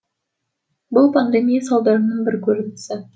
бұл пандемия салдарының бір көрінісі